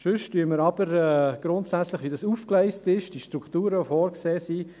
Ansonsten begrüssen wir grundsätzlich – wie es aufgegleist ist – die vorgesehene Struktur.